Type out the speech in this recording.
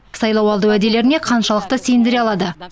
сайлауалды уәделеріне қаншалықты сендіре алады